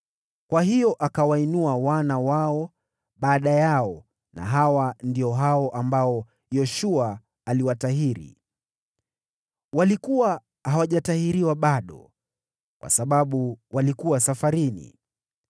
Kwa hiyo akawainua wana wao baada yao na hawa ndio hao ambao Yoshua aliwatahiri. Walikuwa hawajatahiriwa bado kwa sababu walikuwa safarini.